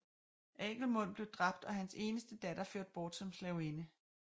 Agelmund blev dræbt og hans eneste datter ført bort som slavinde